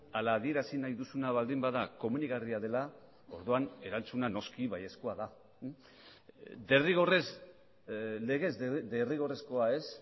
ala adierazi nahi duzuna baldin bada komenigarria dela orduan erantzuna noski baiezkoa da derrigorrez legez derrigorrezkoa ez